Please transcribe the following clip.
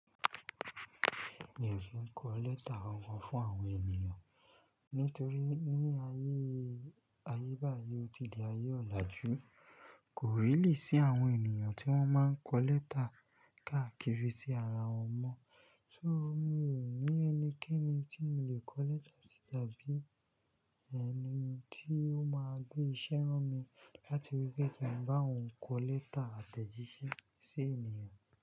Mi ò ki n kọ lẹ́tà kankan fún àwọn ènìyàn nítorí ní ayé, ayé báyìí ó ti di ayé ọ̀làjú. Kò rílì sí àwọn ènìyàn tí wọ́n máa ń kọ lẹ́tà káàkiri sí ara wọn mọ́. So mi ò ní ẹnikẹ́ni tí mo lè kọ lẹ́tà sí tàbí ẹni tí ó máa gbé ìṣẹ́ ránmi láti rí pé kí n bá òun kọ lẹ́tà àtẹ̀jíṣẹ́ sí ènìyàn.